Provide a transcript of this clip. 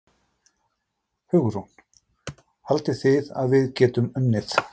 Hugrún: Haldið þið að við getum unnið?